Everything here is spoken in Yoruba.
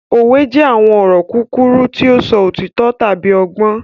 Òwe jẹ àwọn ọ̀rọ̀ kúkúrú ti o sọ òtító tábi ọgbọ́n.